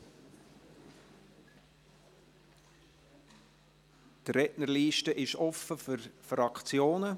Die Rednerliste ist offen für die Fraktionen.